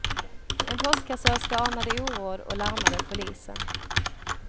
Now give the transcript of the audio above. En postkassörska anade oråd och larmade polisen.